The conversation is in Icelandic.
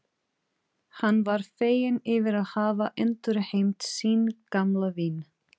Það var ekki af eintómum óþokkaskap.